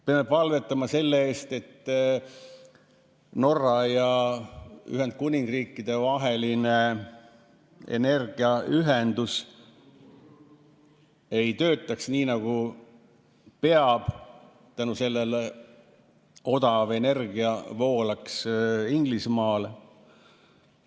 Peame palvetama selle eest, et Norra ja Ühendkuningriigi vaheline energiaühendus ei töötaks nii, nagu peab, ja tänu sellele odav energia ei voolaks Inglismaale.